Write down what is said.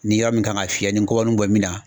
Ni yɔrɔ min kan ka fiyɛ ni gɔbɔni bɔ min na